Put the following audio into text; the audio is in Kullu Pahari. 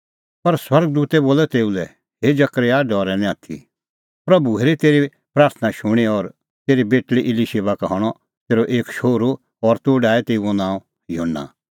पर स्वर्ग दूतै बोलअ तेऊ लै हे जकरयाह डरै निं आथी प्रभू हेरी तेरी प्राथणां शूणीं और तेरी बेटल़ी इलीशिबा का हणअ तेरअ एक शोहरू और तूह डाहै तेऊओ नांअ युहन्ना